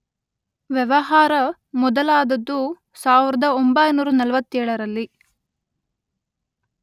ವ್ಯವಹಾರ ಮೊದಲಾದದ್ದು ಸಾವಿರದೊಂಬೈನೂರ ನಲ್ವತ್ತೇಳರಲ್ಲಿ.